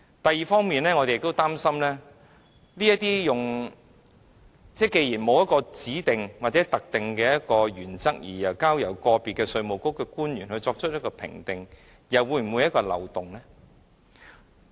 第二，我們也擔心，既然沒有指定或特定的原則，只交由個別稅務局官員作出評定，這又是否一個漏洞？